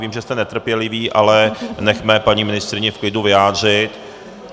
Vím, že jste netrpěliví, ale nechme paní ministryni v klidu vyjádřit.